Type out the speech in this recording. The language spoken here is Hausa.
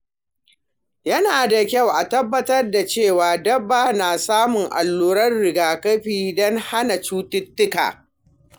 Yana da kyau a tabbatar da cewa dabba na samun alluran rigakafi don hana cututtuka.